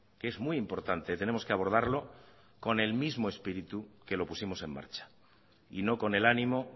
que es muy importante tenemos que abordarlo con el mismo espíritu que lo pusimos en marcha y no con el ánimo